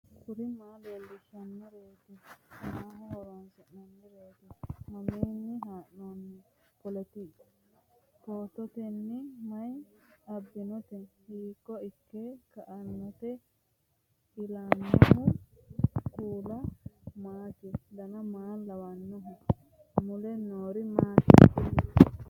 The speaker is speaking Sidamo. kuri maa leellishannoreeti maaho horoonsi'noonnireeti mamiinni haa'noonni phootooti mayi abbinoote hiito ikke kainote ellannohu kuulu maati dan maa lawannoho mule noori maati kuni